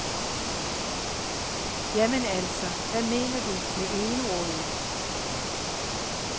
Jamen altså, hvad mener du med egenrådig?